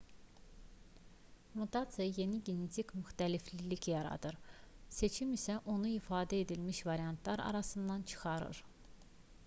mutasiya yeni genetik müxtəliflik yaradır seçim isə onu ifadə edilmiş variantlar arasından çıxarır